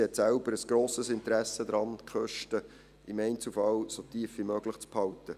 Sie hat selbst ein grosses Interesse daran, die Kosten im Einzelfall so tief wie möglich zu halten.